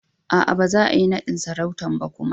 Aa, ba za'a yi nadin sarautan kuma ba.